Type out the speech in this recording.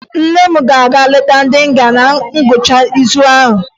Nne m ga-aga leta ndị nga na ngwụcha izu a